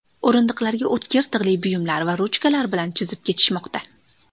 O‘rindiqlarga o‘tkir tig‘li buyumlar va ruchkalar bilan chizib ketishmoqda.